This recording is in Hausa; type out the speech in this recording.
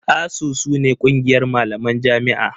ASUU su ne ƙungiyar malaman jami'a.